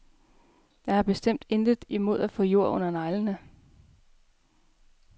Jeg har bestemt intet imod at få jord under neglene.